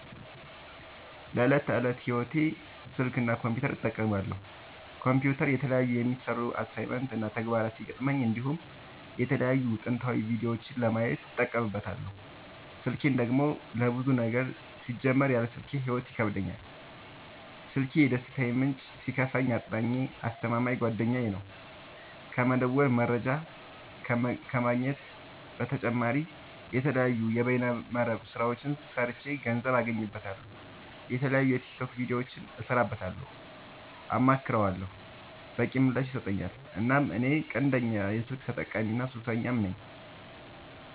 ለዕት ከዕለት ህይወቴ ስልክ እና ኮምፒውተር እጠቀማለሁ። ኮምፒውተር የተለያዩ የሚሰሩ አሳይመንት እና ተግባራት ሲገጥሙኝ እንዲሁም የተለያዩ ትምህርታዊ ቪዲዮዎችን ለማየት እጠቀምበታለው። ስልኬን ደግሞ ለብዙ ነገር ሲጀመር ያለ ስልኬ ህይወት ይከብደኛል። ስልኪ የደስታዬ ምንጭ ሲከፋኝ አፅናኜ አስተማማኝ ጓደኛዬ ነው። ከመደወል መረጃ ከመግኘት በተጨማሪ የተለያዩ የበይነ መረብ ስራዎችን ሰርቼ ገንዘብ አገኝበታለሁ። የተለያዩ የቲክቶክ ቪዲዮዎችን እሰራበታለሁ አማክረዋለሁ። በቂ ምላሽ ይሰጠኛል እናም እኔ ቀንደኛ የስልክ ተጠቀሚና ሱሰኛም ነኝ።